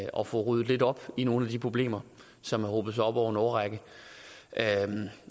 og få ryddet lidt op i nogle af de problemer som har hobet sig op over en årrække